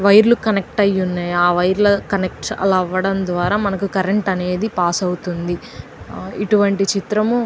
Wire లు connect అయి ఉన్నాయ్. ఆ వైర్ లు అల కనెక్ట్ అయి ఉండటం ద్వారా మనకి కరెంట్ పాస్ అవుతుంది. ఇటువంటి చిత్రము--